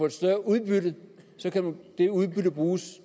et større udbytte så kan det udbytte bruges